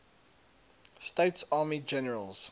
states army generals